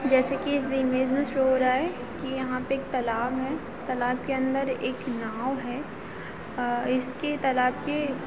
जैसे की इस इमेज मे शो हो रहा है एक तालाब है तालाब के अंदर एक नाव है इसकी तालाब की--